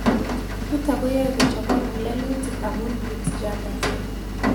Nitok ko yae kochopok ng'ulelutik amu Peutz Jaghers